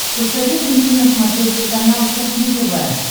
посоветуй мне на смотрешке канал кухня тв